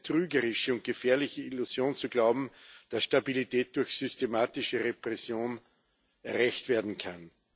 Es ist eine trügerische und gefährliche Illusion zu glauben, dass Stabilität durch systematische Repression erreicht werden kann.